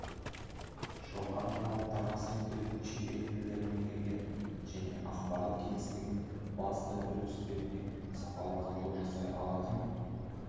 жоғарғы талаптарға сай келетін шетел тілдерін меңгерген және ақпарат кеңістігінің басты үрдістеріне сапалы талдау жасай алатын